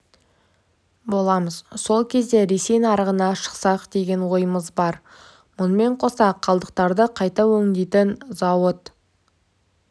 боламыз сол кезде ресей нарығына шықсақ деген ойымыз бар мұнымен қоса қалдықтарды қайта өңдейтін зауыт